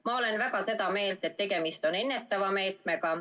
Ma olen väga seda meelt, et tegemist on ennetava meetmega.